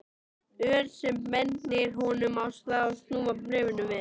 Ör sem bendir honum á að snúa bréfinu við.